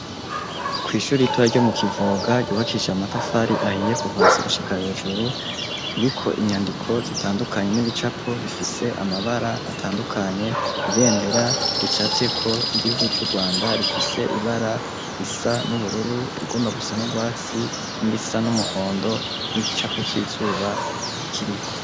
Kw'ishure ritoya ryo mukivoga ryubakishijwe amabuye n'amatafari ahiye Kuva hasi gushika hejuru ririko inyandiko zitandukanye nibicapo butandukanye bifise amabara atandukanye ibendera ricafyeko ry'igihugu cu Rwanda rifise ibara risa n'ubururu irigomba gusa nugwatsi nirisa n'umuhondo nigice cizuba Kiriko.